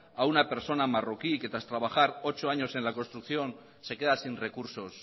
a una persona marroquí que tras trabajar ocho años en la construcción se queda sin recursos